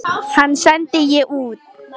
Hann sendi ég utan.